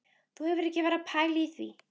Þú hefur ekki verið að pæla í því?